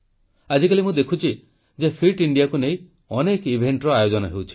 ଆଜିକାଲ ମୁଁ ଦେଖୁଛି ଯେ ଫିଟ୍ ଇଣ୍ଡିଆକୁ ନେଇ ଅନେକ ଇଭେଂଟର ଆୟୋଜନ ହେଉଛି